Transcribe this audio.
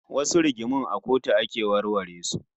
Wasu rigingimun a kotu ake warware su